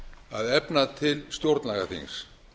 að efna til stjórnlagaþings